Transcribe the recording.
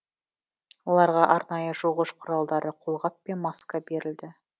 оларға арнайы жуғыш құралдары қолғап пен маска берілді